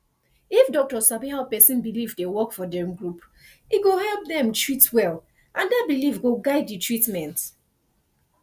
if doctor sabi how person belief dey work for dem group e go help dem treat well and that belief go guide the treatment